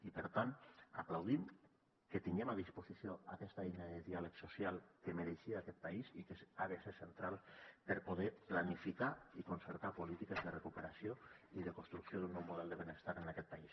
i per tant aplaudim que tinguem a disposició aquesta eina de diàleg social que mereixia aquest país i que ha de ser central per poder planificar i concertar polítiques de recuperació i de construcció d’un nou model de benestar en aquest país